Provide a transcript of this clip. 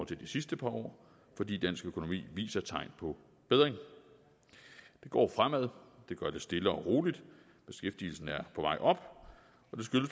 til de sidste par år fordi dansk økonomi viser tegn på bedring det går fremad det gør det stille og roligt beskæftigelsen er på vej op